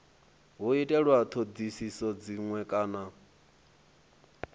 hu itwe dzinwe thodisiso kana